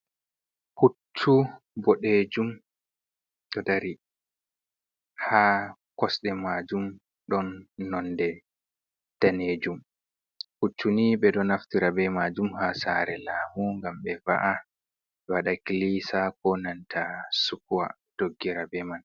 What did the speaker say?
Puccu boɗejum ɗo dari ha kosɗe majum ɗon nonde danejum, puccuni ɓe ɗo naftira be majum ha saare laamu, ngam be va’a be waɗa klisa ko nanta sukuwa doggira be man.